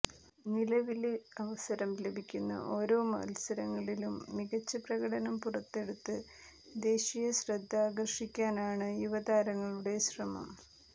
നിലവില് അവസരം ലഭിക്കുന്ന ഓരോ മത്സരങ്ങളിലും മികച്ച പ്രകടനം പുറത്തെടുത്ത് ദേശീയ ശ്രദ്ധയാകര്ഷിക്കാനാണ് യുവതാരങ്ങളുടെ ശ്രമം